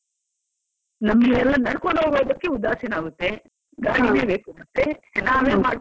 ನಮ್ಗೆಲ್ಲಾ ನಡ್ಕೊಂಡು ಹೋಗ್ಲಿಕ್ಕೆ ಉದಾಸೀನ ಆಗುತ್ತೆ, ಬೇಕಾಗುತ್ತೆ ನಾವೇ ಮಾಡ್ಕೊಂಡಿದ್ದೀವೆಲ್ಲ?